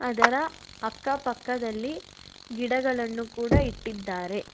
ಅದರ ಅಕ್ಕಪಕ್ಕದಲ್ಲಿ ಗಿಡಗಳನ್ನು ಕೂಡ ಇಟ್ಟಿದ್ದಾರೆ.